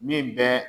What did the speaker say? Min bɛɛ